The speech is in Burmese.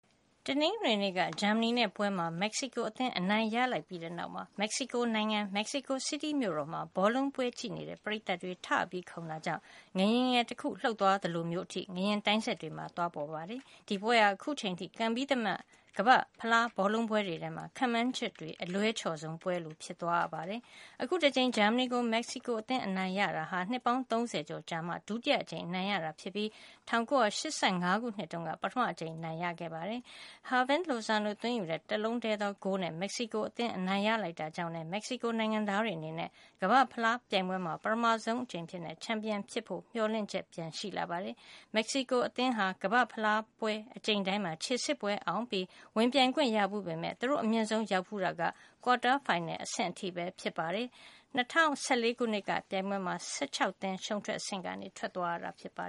တနင်္ဂနွေနေ့က ဂျာမနီနဲ့ပွဲမှာ မက္ကဆီကိုအသင်း အနိုင်ရလိုက်ပြီးတဲ့နောက် မက္ကဆီကိုနိုင်ငံ၊ မက္ကဆီကို စီးတီးမြို့တော်မှာ ဘောလုံးပွဲကြည့်နေတဲ့ ပရိသတ်တွေ ထခုန်တာကြောင့် ငလျင်ငယ်တခု လှုပ်သွားသလိုမျိုးထိ ငလျင်တိုင်းစက်တွေမှာ သွားပေါ်ပါ တယ်။ ဒီပွဲဟာ အခုချိန်ထိ ကန်ပြီးသမျှ ကမ္ဘာ့ဖလားဘောလုံးပွဲတွေထဲမှာ ခန့်မှန်းချက်တွေ အလွဲချော်ဆုံးပွဲလို ဖြစ်သွားပါတယ်။ အခု တကြိမ် ဂျာမနီကို မက္ကဆီကိုအသင်း အနိုင်ရတာဟာ နှစ်ပေါင်း ၃၀ ကျော်အကြာမှာ ဒုတိယအကြိမ် အနိုင်ရတာဖြစ်ပြီး ၁၉၈၅ ခုနှစ်က နောက်ဆုံး အနိုင်ရထားဖူးတာပါ။ Hirving Lozano သွင်းယူတဲ့ တလုံးတည်းသောဂိုးနဲ့ မက္ကဆီကိုအသင်း အနိုင်ရလိုက်တာကြောင့်လည်း မက္ကဆီကိုနိုင်ငံသား တွေအနေနဲ့ ကမ္ဘာ့ဖလားပြိုင်ပွဲမှာ ပထမဆုံးအကြိမ် ချန်ပီယံဖြစ်ဖို့ မျှော်လင့်ချက် ပြန်ရှိလာပါတယ်။ မက္ကဆီကိုအသင်းဟာ ကမ္ဘာ့ ဖလားပြိုင်ပွဲ အကြိမ်တိုင်းမှာ ခြေစစ်ပွဲအောင်ပြီး ဝင်ပြိုင်ခွင့်ရဖူးပေမဲ့ သူတို့ အမြင့်ဆုံးရောက်ဖူးတာ ကွာတားဖိုင်နယ်အဆင့်ထိပဲ ဖြစ်ပါတယ်။ ၂၀၁၄ ခုနှစ်ကပြိုင်ပွဲမှာ ၁၆ သင်း ရှုံးထွက်အဆင့်ကနေ ထွက်သွားရတာပါ